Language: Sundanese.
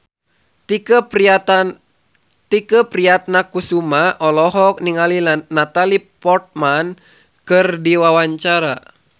Tike Priatnakusuma olohok ningali Natalie Portman keur diwawancara